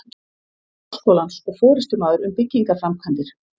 Háskólans og forystumaður um byggingarframkvæmdir.